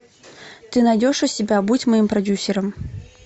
ты найдешь у себя будь моим продюсером